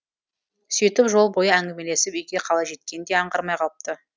сөйтіп жол бойы әңгімелесіп үйге қалай жеткенін де аңғармай қалыпты